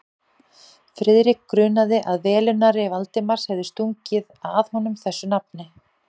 Friðrik grunaði, að velunnari Valdimars hefði stungið að honum þessu nafni.